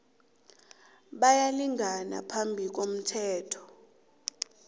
bayalingana phambi komthetho